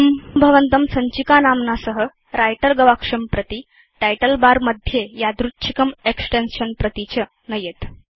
इदं भवन्तं सञ्चिकानाम्ना सह व्रिटर गवाक्षं प्रति टाइटल बर मध्ये यादृच्छिकं एक्सटेन्शन् प्रति च नयेत्